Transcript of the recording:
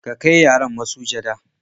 ki Kai yaran masujada